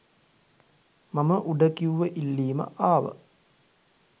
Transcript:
මම උඩ කිව්ව ඉල්ලීම ආව